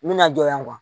N bɛna jɔ yan